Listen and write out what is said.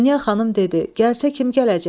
Dünya xanım dedi: Gəlsə kim gələcək?